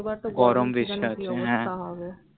এবার তা তো ও জানে কি অবস্থা হবে গরম বেশি আছে হ্য়াঁ